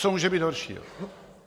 Co může být horšího?